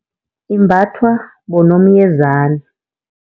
Imbathwa bonomyezani.